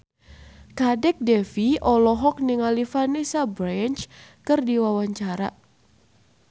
Kadek Devi olohok ningali Vanessa Branch keur diwawancara